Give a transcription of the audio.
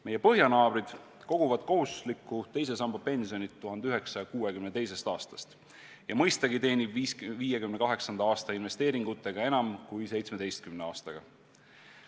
Meie põhjanaabrid koguvad kohustuslikku teise samba pensioni 1962. aastast ja mõistagi teenib 58 aasta investeeringutega enam kui 17 aastaga.